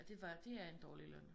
Ja det var det er en dårlig løn